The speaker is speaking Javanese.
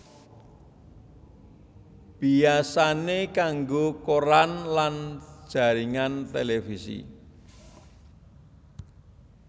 Biasané kanggo koran lan jaringan televisi